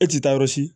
E ti taa yɔrɔ si